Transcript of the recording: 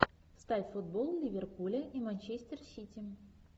ставь футбол ливерпуля и манчестер сити